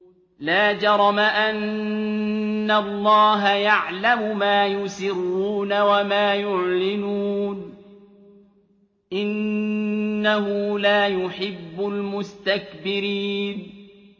لَا جَرَمَ أَنَّ اللَّهَ يَعْلَمُ مَا يُسِرُّونَ وَمَا يُعْلِنُونَ ۚ إِنَّهُ لَا يُحِبُّ الْمُسْتَكْبِرِينَ